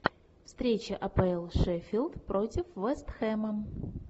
встреча апл шеффилд против вест хэма